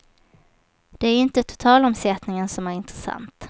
Det är inte totalomsättningen som är intressant.